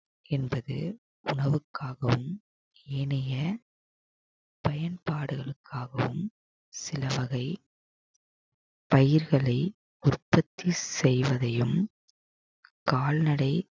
என்பது உணவுக்காகவும் இனிய பயன்பாடுகளுக்காகவும் சில வகை பயிர்களை உற்பத்தி செய்வதையும் கால்நடை